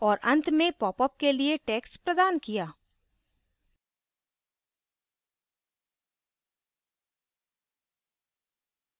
औऱ and में popup के लिए text प्रदान किया